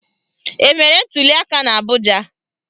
Emere ntuliaka n'Abụja?